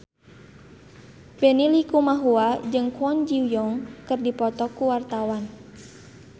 Benny Likumahua jeung Kwon Ji Yong keur dipoto ku wartawan